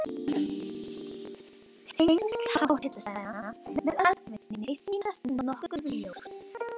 Tengsl háhitasvæðanna við eldvirkni sýnast nokkuð ljós.